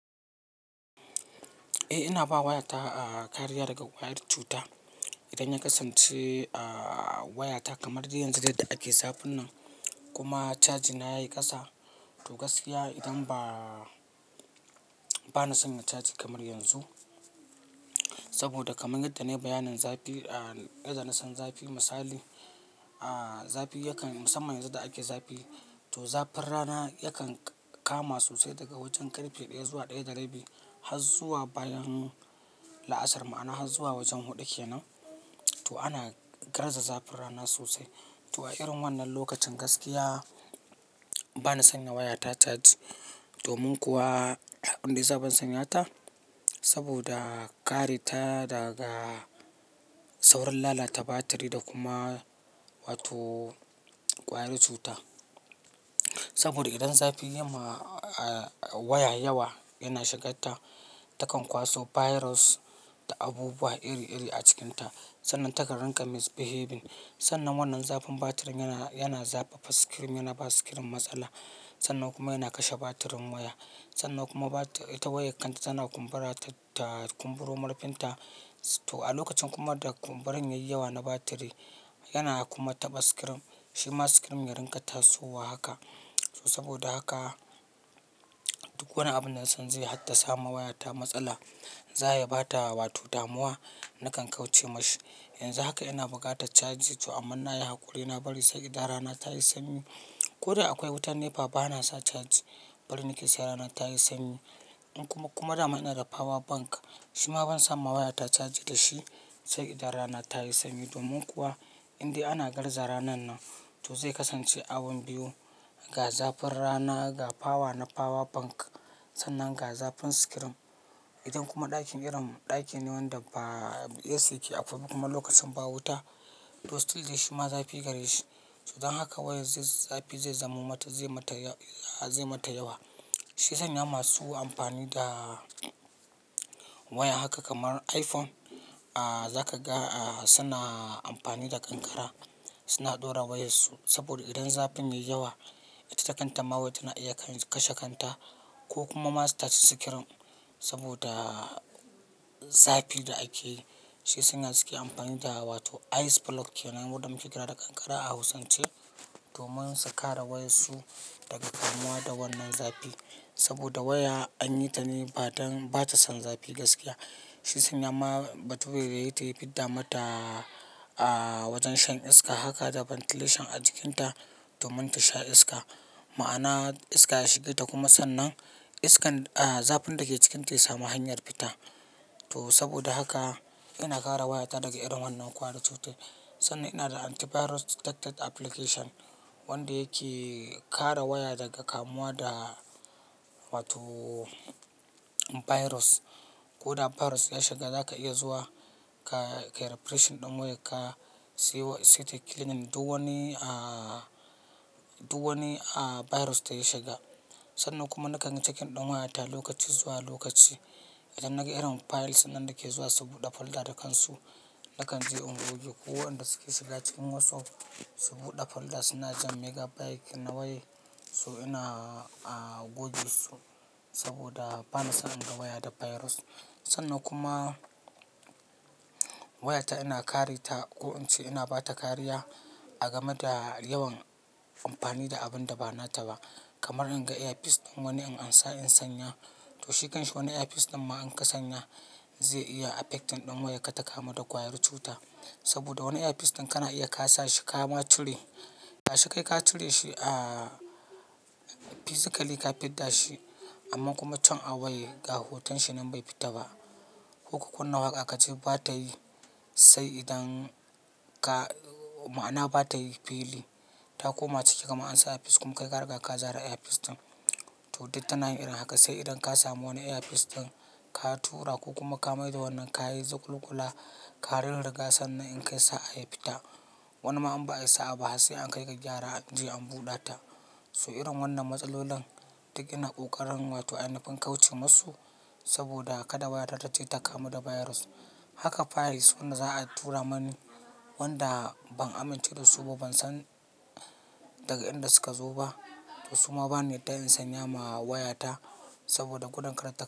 Eh, ina ba wayata kariya daga ƙwayar cuta. Idan ya kasance wayata kamar yanzu da ake zafin nan kuma charger na yayi ƙasa, to gaskiya idan ba na sanya charger kamar yanzu. Saboda kamar yadda ne bayanin zafi, idan na san zafi misali, zafi yakan, musamman yanzu da ake zafi, to zafin rana yakan kama sosai daga wajen karfe ɗaya zuwa ɗaya da rabi har zuwa bayan la'asar, ma'ana har zuwa wajen huɗu kenan. To ana garza zafin rana sosai. To a irin wannan lokacin, gaskiya bana sanya wayata charge domin kuwa abunda ban sanya ta. Saboda kare ta daga saurin lalata batiri da kuma wato ƙwayar cuta. Saboda idan zafi ya ma waya yawa yana shiga ta, takan kwaso virus da abubuwa iri-iri a cikinta. Sannan takan ranka misbehaving. Sannan wannan zafin batirin yana zafafa screen, yana ba screen matsala. Sannan kuma yana kashe batirin waya. Sannan kuma ita wayar kanta tana kumbura ta kumburo murfin ta. To a lokacin kuma da kumburan yayi yawa na batiri, yana kuma taɓa screen. Shi ma screen ya ranka tasowa haka. To saboda haka duk wani abu na son zai hatta sa ma wayata matsala, za ya ba ta wato damuwa, nakan kauce masa. Yanzu haka ina buga ta charge to amma na yi hakuri na bari sai idan rana ta yi sanyi. Ko da akwai wutar NEPA bana sa charge, bari nake sai rana ta yi sanyi. In kuma, kuma da mana da power bank, shi ma ban son ba wayata charge da shi sai idan rana ta yi sanyi. Domin kuwa inda ana garza ranan nan, to zai kasance abin biyu. Ga zafin rana, ga power na power bank sannan ga zafin screen. Idan kuma ɗakin irin, ɗaki ne wanda ba AC yake akwai kuma lokacin ba wuta, to still dai shi ma zafi gare shi. To dan haka wayar zai zafi zai zama mata, zai mata, zai mata yawa. Shi ya sanya masu amfani da waya haka kamar iPhone, za ka ga suna amfani da ƙanƙara. Suna ɗora wayarsu saboda idan zafin yayi yawa, ita takan ta ma waya tana iya kashe kanta ko kuma ma su tashi screen saboda zafi da ake yi. Shi yasanya suke amfani da wato ice block kenan, wanda muke kira da ƙanƙara a hausance, domin su kare wayarsu daga kamuwa da wannan zafi. Saboda waya an yi ta ne ba don, ba ta son zafi gaskiya. Shi yasanya ma bature da yayita ya fidda mata wajen shan iska. Haka da ventilation a cikinta domin ta sha iska. Ma'ana iska ya shige ta kuma sannan iskan, zafin da ke cikinta ya sami hanyar fita. To saboda haka ina kare wayata daga irin wannan ƙwayar cutar. Sannan ina da antivirus detected application wanda yake kare waya daga kamuwa da wato virus. Ko da virus ya shiga, za ka iya zuwa ka yi refreshing ɗin wayar ka siyo, site cleaning duk wani, duk wani virus da ya shiga. Sannan kuma na kan yi checking ɗin wayata lokaci zuwa lokaci. Idan naga irin files nan da ke zuwa su buɗe folder da kansu, da kan je in goge. Ko waɗanda suke shiga cikin WhatsApp su buɗe folder suna jan megabyte na wayar, so ina goge su saboda bana son in ga waya da virus. Sannan kuma wayata ina kare ta ko in ce ina ba ta kariya a gama da yawan amfani da abun da ba na ta ba. Kamar in ga earpiece ɗin wani in ansa in sanya, to shi kan shi wani earpiece ɗin ma in ka sanya zai iya affecting ɗin wayarka ta kamu da ƙwayar cuta. Saboda wani earpiece ɗin kana iya ka sa shi kama cire. Ga shi kai ka cire shi physically ka fidda shi amma kuma can a wayar ga hoton shi nan bai fita ba. Ko ka kunna waƙa ka ji ba ta yi sai idan ka, ma'ana ba ta yi fili. Ta koma ciki gama ansa earpiece kuma kai ka riga ka zare earpiece ɗin. To duk ta na yin irin haka sai idan ka samu wani earpiece ɗin ka tura ko kuma ka maida wannan ka yi zuƙulaƙula karurruga sannan in kai sa'a ya fita. Wani ma in ba ayi sa'a ba har sai an kai ga gyara an je an buɗe ta. So irin wannan matsalolan duk ina ƙoƙarin wato ainufin kauce musu saboda kada wayata ce ta kamu da virus. Haka files wanda za a tura mani, wanda ban amince da su ba, ban san daga inda suka zo ba to su ma bani yadda in sanya ma wayata saboda gudun kar ta kama.